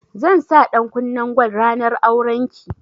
Zan sa ɗankunnen gwal ranar auren ki